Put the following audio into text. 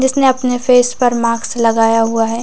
जिसने अपने फेस पर मार्क्स लगाया हुआ हैं ।